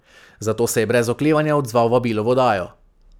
Zato se je brez oklevanja odzval vabilu v oddajo.